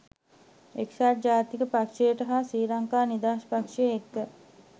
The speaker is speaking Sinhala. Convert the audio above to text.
එක්සත් ජාතික පක්ෂයට හා ශ්‍රී ලංකා නිදහස් පක්ෂය එක්ක